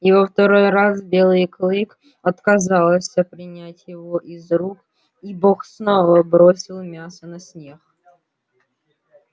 и во второй раз белый клык отказался принять его из рук и бог снова бросил мясо на снег